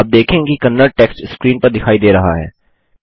आप देखेंगे कि कन्नड़ टेक्स्ट स्क्रीन पर दिखाई दे रहा है